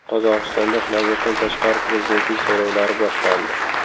Qozog‘istonda navbatdan tashqari prezidentlik saylovlari boshlandi.